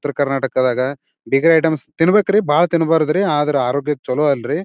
ಉತ್ತರ ಕರ್ನಾಟದಾಗ bakery items ತಿನ್ಬೇಕ್ರಿ ಬಹಳ ತಿನ್ಬಾರ್ದ್ರೀ ರೀ ಆದ್ರ ಆರೋಗ್ಯಕ್ಕ ಚಲೋ ಅಲ್ರಿ.